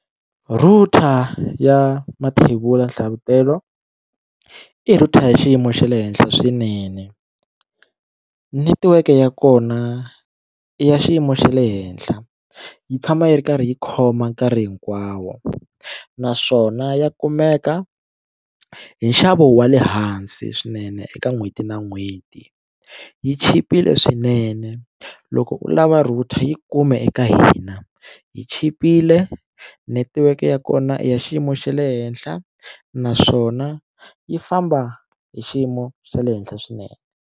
Router ya Mathebula Nhlavutelo i router hi xiyimo xa le henhla swinene netiweke ya kona i ya xiyimo xa le henhla yi tshama yi ri karhi yi khoma nkarhi hinkwawo naswona ya kumeka hi nxavo wa le hansi swinene eka n'hweti na n'hweti yi chipile swinene loko u lava router yi kume eka hina yi chipile netiweke ya kona i ya xiyimo xa le henhla naswona yi famba hi xiyimo xa le henhla swinene.